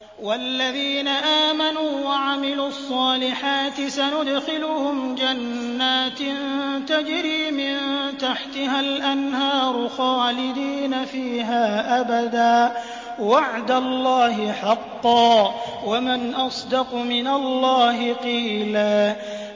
وَالَّذِينَ آمَنُوا وَعَمِلُوا الصَّالِحَاتِ سَنُدْخِلُهُمْ جَنَّاتٍ تَجْرِي مِن تَحْتِهَا الْأَنْهَارُ خَالِدِينَ فِيهَا أَبَدًا ۖ وَعْدَ اللَّهِ حَقًّا ۚ وَمَنْ أَصْدَقُ مِنَ اللَّهِ قِيلًا